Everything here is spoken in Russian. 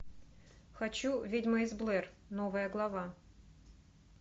хочу ведьма из блэр новая глава